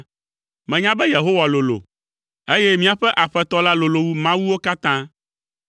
Menya be Yehowa lolo, eye míaƒe Aƒetɔ la lolo wu mawuwo katã.